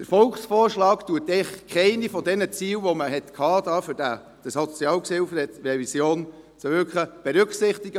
Der Volksvorschlag berücksichtigt eigentlich keines der Ziele, die man mit der Revision des SHG hatte.